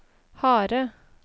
harde